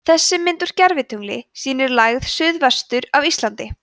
þessi mynd úr gervitungli sýnir lægð suðvestur af íslandi